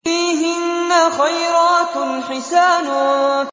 فِيهِنَّ خَيْرَاتٌ حِسَانٌ